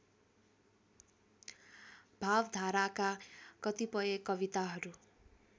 भावधाराका कतिपय कविताहरू